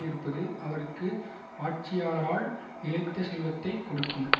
இருப்பது அவருக்கு ஆட்சியாளரால் நிலைத்த செல்வத்தை கொடுக்கும்